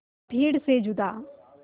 भीड़ से जुदा